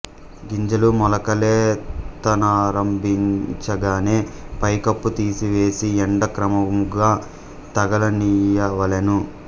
గింజలు మొలకలెత్తనారంభించగనే పై కప్పు తీసివేసి యెండ క్రమముగ తగలనీయవలెను